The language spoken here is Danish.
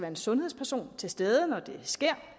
en sundhedsperson til stede når